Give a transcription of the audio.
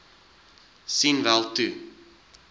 sien wel toe